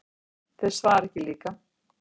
Þeir svara ekki líka.